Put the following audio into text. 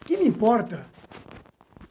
O que lhe importa?